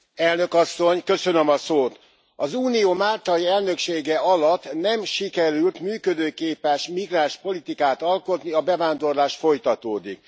Elnök Asszony, az unió máltai elnöksége alatt nem sikerült működőképes migránspolitikát alkotni, a bevándorlás folytatódik.